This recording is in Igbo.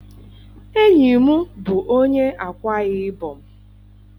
Enyi m bụ onye Ákwá-Ibom.